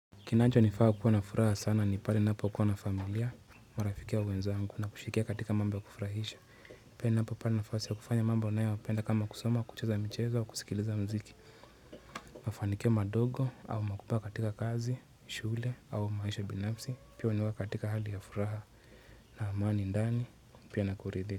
Kinancho nifaa kuwa na furaha sana ni pale ninapo kuwa na familia marafiki au wenzangu na kushikia katika mambo ya kufurahisha pia na hapa pali nafasi ya kufanya mambo nae wa penda kama kusoma kucheza mcheza wa kusikiliza mziki mafanikio madogo au makupa katika kazi, shule au maisha binafsi pia wanuwa katika hali ya furaha na amani ndani pia na kuridhe.